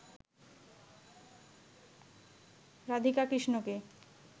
রাধিকা কৃষ্ণকে